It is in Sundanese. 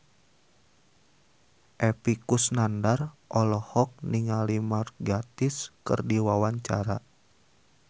Epy Kusnandar olohok ningali Mark Gatiss keur diwawancara